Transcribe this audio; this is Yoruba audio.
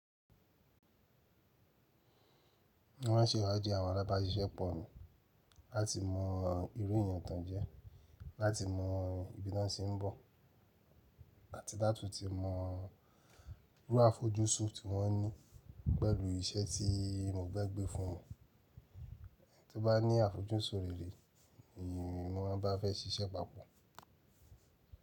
Mo maa n ṣẹ̀ ìwà di àwọn alábàsísẹ́ pọ̀ mi, láti mọ irú èèyàn tán jẹ́, láti mọ ìbi ta ti ń bọ̀, àti láti tún mọ irú àfojúsùn tí wọ́n ní pẹ̀lú iṣẹ́ tí mo gbé gbé fún wọn. Ẹni tí ó bá ní àfojúsùn rere ni wọ́n bá fẹ́ ṣiṣẹ́ papọ̀.